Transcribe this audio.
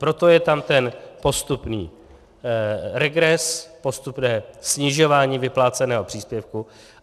Proto je tam ten postupný regres, postupné snižování vypláceného příspěvku.